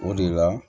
O de la